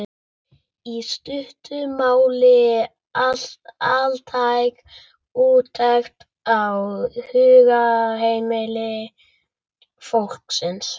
í stuttu máli altæk úttekt á hugarheimi fólksins.